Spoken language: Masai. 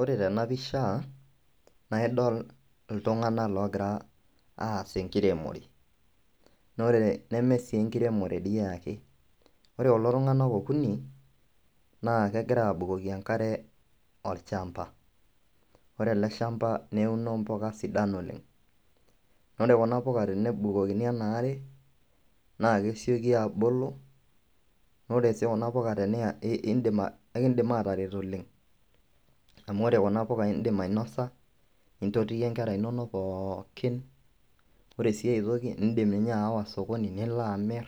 Ore tena pisha naa idol iltung'anak loogira aas enkiremore naa ore neme sii enkiremore dii ake, ore kulo tung'anak okuni naake egira aabukoki enkare olchamba. Ore ele shamba neuno mpuka sidan oleng', ore kuna puka tenebukokini ena are naake esioki aabulu, naa ore sii kuna puka teniya ii iindim aa kekiindim ataret oleng' amu ore kuna puka iindim ainosa, nintotiyie nkera inonok pookin. Ore sii ai toki, iindim ninye aawa sokoni nilo amir